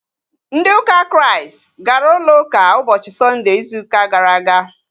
Ndị ụka Kraịst gara ụlọ ụka ụbọchị Sọnde ịzụ ụka gara aga